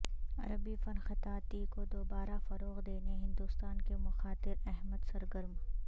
عربی فن خطاطی کو دوبارہ فروغ دینے ہندوستان کے مختار احمد سرگرم